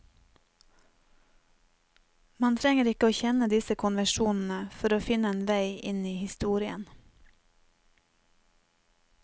Man trenger ikke å kjenne disse konvensjonene for å finne en vei inn i historien.